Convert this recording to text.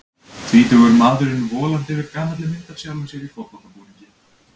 Tvítugur maðurinn volandi yfir gamalli mynd af sjálfum sér í fótboltabúningi.